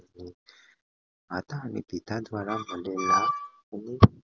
અને પિતા દ્વારા મળેલા